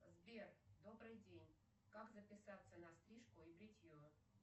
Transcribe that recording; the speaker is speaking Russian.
сбер добрый день как записаться на стрижку и бритье